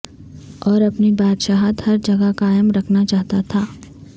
اور اپنی بادشاہت ہر جگہ قائم کرنا چاہتا تھا